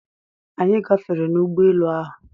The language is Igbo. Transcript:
Anyị gafere n'ụgbọ elu ahụ.